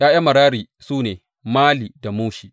’Ya’yan Merari su ne, Mali da Mushi.